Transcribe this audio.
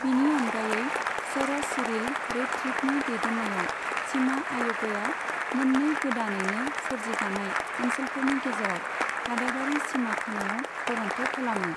बिनि अनगायै, sir Cyril रैडक्लिफनि दैदेननायाव सिमा आय'गया मोननै गोदानैनो सोरजि जानाय ओनसोलफोरनि गेजेराव हादाबारि सिमा खानायाव गरनथ' खालामो।